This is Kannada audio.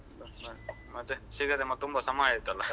ಹಾ ಮತ್ತೆ ಸಿಗದೆ ತುಂಬ ಸಮಯ ಆಯ್ತಲ್ಲ.